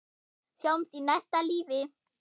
Sjáumst í næsta lífi.